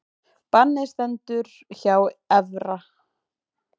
Bannið stendur hjá Evra